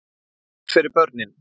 Hvað er best fyrir börnin?